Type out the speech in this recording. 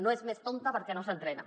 no és més tonta perquè no s’entrena